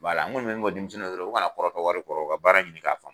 n kɔni bɛ min fɔ denmisɛnninw ye dɔrɔn u kana kɔrɔtɔ wari kɔrɔ u ka baara ɲini k'a faamu